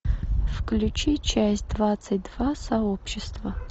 включи часть двадцать два сообщество